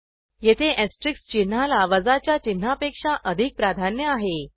येथे ऍस्टेरिक चिन्हाला वजाच्या चिन्हापेक्षा अधिक प्राधान्य आहे